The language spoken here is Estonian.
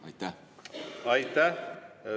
Aitäh!